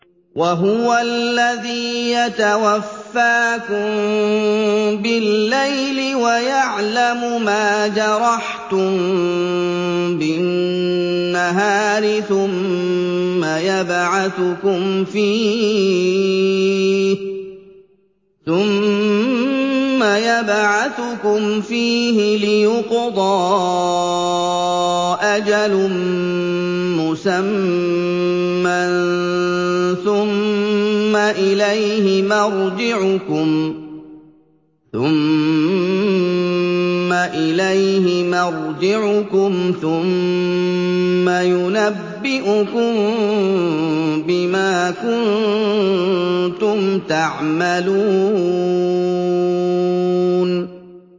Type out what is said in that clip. وَهُوَ الَّذِي يَتَوَفَّاكُم بِاللَّيْلِ وَيَعْلَمُ مَا جَرَحْتُم بِالنَّهَارِ ثُمَّ يَبْعَثُكُمْ فِيهِ لِيُقْضَىٰ أَجَلٌ مُّسَمًّى ۖ ثُمَّ إِلَيْهِ مَرْجِعُكُمْ ثُمَّ يُنَبِّئُكُم بِمَا كُنتُمْ تَعْمَلُونَ